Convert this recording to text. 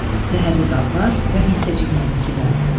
Zəhərli qazlar və hissəciklər də kirlənib.